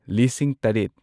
ꯂꯤꯁꯤꯡ ꯇꯔꯦꯠ